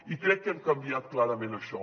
i crec que hem canviat clarament això